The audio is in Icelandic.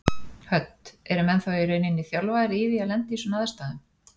Hödd: Eru menn þá í rauninni þjálfaðir í því að lenda í svona aðstæðum?